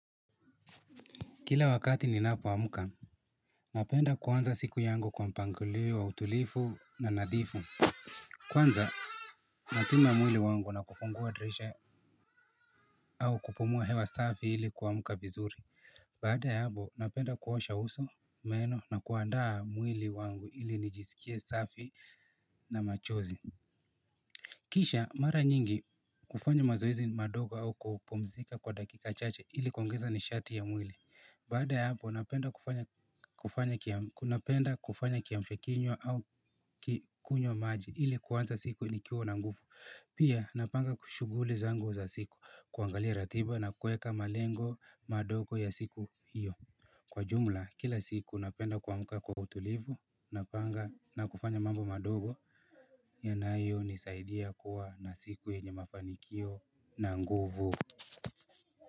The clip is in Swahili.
Kila wakati ninapoamka, napenda kuanza siku yangu kwa mpangilio, utulivu na nadhifu. Kwanza, napima mwili wangu na kufungua dirisha au kupumua hewa safi ili kuamuka vizuri. Baada ya hapo, napenda kuosha uso, meno na kuandaa mwili wangu ili nijisikie safi na machozi. Kisha, mara nyingi kufanya mazoezi madogo au kupumzika kwa dakika chache ili kuongeza nishati ya mwili. Baada ya hapo napenda kufanya kiamsha kinywa au kunywa maji ili kuanza siku nikiwa na nguvu. Pia napanga shughuli zangu za siku kuangalia ratiba na kueka malengo madogo ya siku hiyo. Kwa jumla kila siku napenda kuamka kwa utulivu napanga na kufanya mambo madogo yanayonisaidia kuwa na siku yenye mafanikio na nguvu.